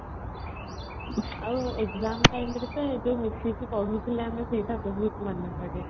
ଆଉ exam timeରେ ତ ଏ ଯୋଉ ମିଶିକି ପଢୁଥିଲେ ଆମେ ସେଇଟା ବହୁତ ମନେପଡେ |